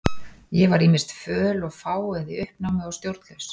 Ég var ýmist föl og fá eða í uppnámi og stjórnlaus.